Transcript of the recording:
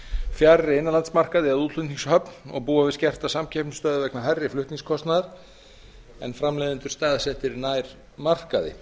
fjarri innanlandsmarkaði eða útflutningshöfn og búa við skerta samkeppnisstöðu vegna hærri flutningskostnaðar en framleiðendur eru staðsettir nær markaði